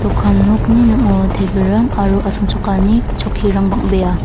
dokan nokni ning·ao tebilrang aro asongchakani chokkirang bang·bea.